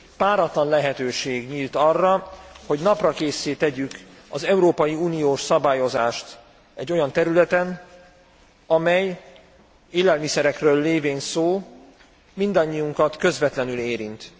Páratlan lehetőség nyílt arra, hogy naprakésszé tegyük az európai uniós szabályozást egy olyan területen, amely élelmiszerekről lévén szó mindannyiunkat közvetlenül érint.